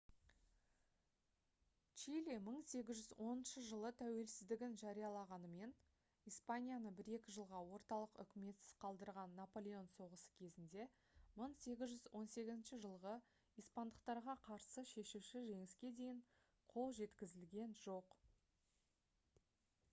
чили 1810 жылы тәуелсіздігін жариялағанымен испанияны бір-екі жылға орталық үкіметсіз қалдырған наполеон соғысы кезінде 1818 жылғы испандықтарға қарсы шешуші жеңіске дейін қол жеткізілген жоқ